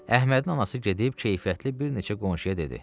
Əhmədin anası gedib keyfiyyətli bir neçə qonşuya dedi: